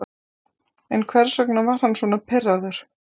En hvers vegna var hann svona pirraður?